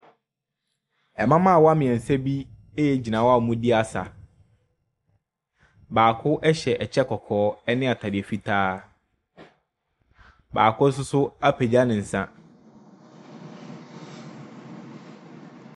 Mmabaawa mmiɛnsa bi gyina hɔ a wɔredi asa, baako hyɛ kyɛ kɔkɔɔ ne ataade fitaa, baako nso apagya ne nsa.